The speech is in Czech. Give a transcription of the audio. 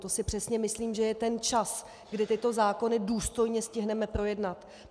To si přesně myslím, že je ten čas, kdy tyto zákony důstojně stihneme projednat.